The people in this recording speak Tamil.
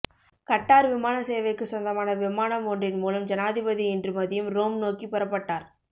கட்டார் விமான சேவைக்கு சொந்தமான விமானம் ஒன்றின் மூலம் ஜனாதிபதி இன்று மதியம் ரோம் நோக்கி புறப்பட்டார்